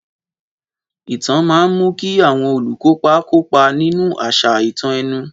Ìtàn máa ń mú kí àwọn olùkópa kópa nínú àṣà ìtàn ẹnu.